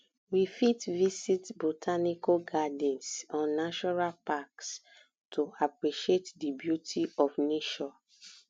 we fit visit botanical gardens or natural packs to appreciate di beauty of nature